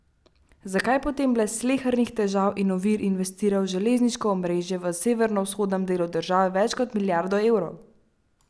Zakaj potem brez slehernih težav in ovir investirajo v železniško omrežje v severovzhodnem delu države več kot milijardo evrov?